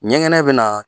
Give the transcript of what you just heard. Ɲɛgɛnɛ bɛ na